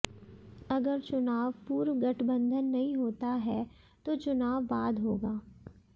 अगर चुनाव पूर्व गठबंधन नहीं होता है तो चुनाव बाद होगा